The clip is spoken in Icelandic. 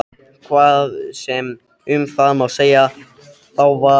Hvað sem um það má segja þá var